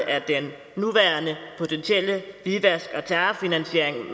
af den potentielle hvidvask og terrorfinansiering